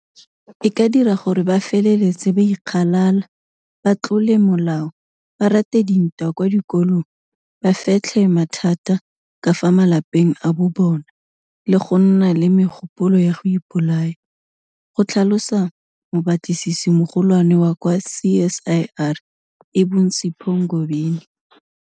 E ka dira gore ba feletse ba ikgalala, ba tlole molao, ba rate dintwa kwa dikolong, ba fetlhe mathata ka fa malapeng a bobona le go nna le megopolo ya go ipolaya, go tlhalosa mobatlisisimogolwane wa kwa CSIR e bong Sipho Ngobeni.